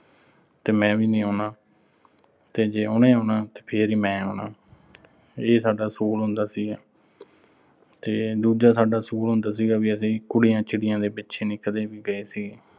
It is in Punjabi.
ਤੇ ਮੈਂ ਵੀ ਨੀਂ ਆਉਣਾ। ਤੇ ਜੇ ਉਹਨੇ ਆਉਣਾ ਤਾਂ ਫਿਰ ਹੀ ਮੈਂ ਆਉਣਾ। ਇਹ ਸਾਡਾ ਅਸੂਲ ਹੁੰਦਾ ਸੀਗਾ। ਤੇ ਦੂਜਾ ਸਾਡਾ ਅਸੂਲ ਹੁੰਦਾ ਸੀਗਾ, ਵੀ ਅਸੀਂ ਕੁੜੀਆਂ-ਚਿੜੀਆਂ ਦੇ ਪਿੱਛੇ ਨੀਂ ਕਦੇ ਵੀ ਗਏ ਸੀ।